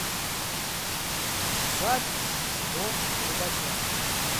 запись дом рыбака